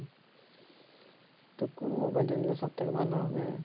তা কোন mobile টা নিলে সবথেকে ভাল হবে?